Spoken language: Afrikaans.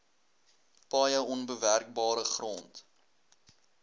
paaie onbewerkbare grond